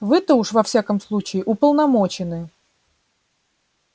вы-то уж во всяком случае уполномочены